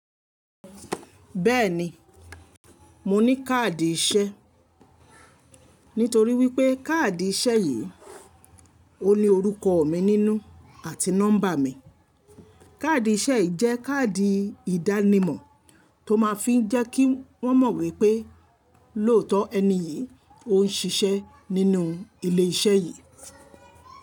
Bẹ́ẹ̀ni, mo ní káàdì iṣẹ́. Nítorí wípé káàdì iṣẹ́ yìí ó ní orúkọ mi nínú àti nọ́mbà mi. Káàdì iṣẹ́ ì jẹ́ káàdì ìdánimọ̀ tó máa ń fi jẹ́ kí wọ́n mọ̀ wípé lóòtọ́ ẹni yìí ó ń ṣiṣẹ́ nínú ilé iṣẹ́ yìí.